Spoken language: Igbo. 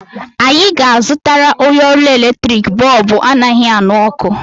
Anyị ga-azụtara onye ọrụ eletrik bọọbụ anaghị aṅụ ọkụ.